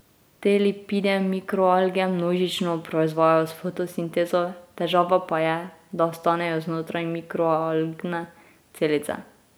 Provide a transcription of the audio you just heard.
Te lipide mikroalge množično proizvajajo s fotosintezo, težava pa je, da ostanejo znotraj mikroalgne celice.